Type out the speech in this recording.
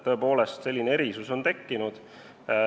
Tõepoolest, selline erisus on tekkinud.